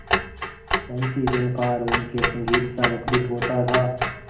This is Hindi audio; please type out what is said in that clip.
वंशीझनकार उनके संगीतसा मुखरित होता था